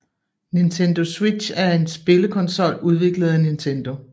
Nintendo Switch er en spillekonsol udviklet af Nintendo